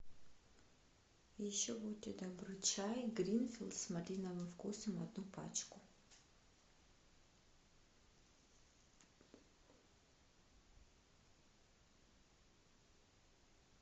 еще будьте добры чай гринфилд с малиновым вкусом одну пачку